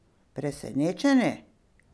Presenečeni?